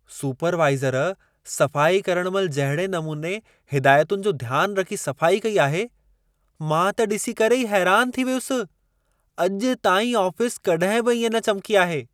Supervisor सफ़ाई करणु महिल जहिड़े नमूने हिदायतुनि जो ध्यान रखी सफ़ाई कई आहे, मां त ॾिसी करे ई हैरान थी वियुसि। अॼु ताईं आफ़िस कॾहिं बि इएं न चमिकी आहे!